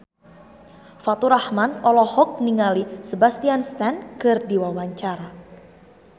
Faturrahman olohok ningali Sebastian Stan keur diwawancara